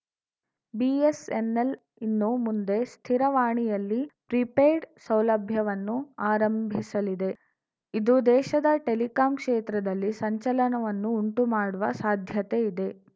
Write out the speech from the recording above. BSNL ಇನ್ನು ಮುಂದೆ ಸ್ಥಿರ ದೂರವಾಣಿಯಲ್ಲಿ ಪ್ರೀಪೇಯ್ಡ್‌ ಸೌಲಭ್ಯವನ್ನು ಆರಂಭಿಸಲಿದೆ ಇದು ದೇಶದ ಟೆಲಿಕಾಂ ಕ್ಷೇತ್ರದಲ್ಲಿ ಸಂಚಲನವನ್ನು ಉಂಟು ಮಾಡುವ ಸಾಧ್ಯತೆ ಇದೆ